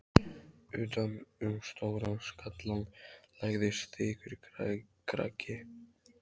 Utan um stóran skallann lagðist þykkur kragi.